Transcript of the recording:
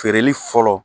Feereli fɔlɔ